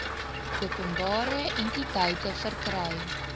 openbare entiteite verkry